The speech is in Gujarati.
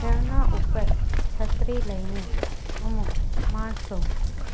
ઝરના ઉપર છત્રી લઈને અમુક માણસો